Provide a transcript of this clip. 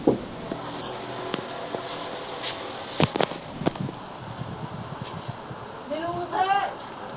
ਵੇ ਉਠ।